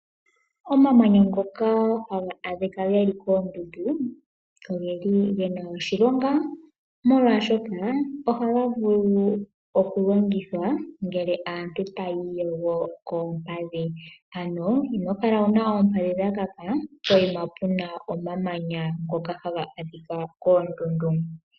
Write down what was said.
Omamanya ngoka haga adhika geli koondundu, ogeli gena oshilonga molwaashoka, ohaga vulu oku longithwa ngele aantu taya iyogo koompadhi. Ano inokala wuna oompadhi dha kaka, poyima puna omamanya ngoka haga adhikwa koondundu.